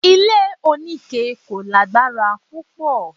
Ilé onike kò lágbára púpọ̀